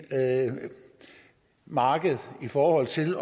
markedet i forhold til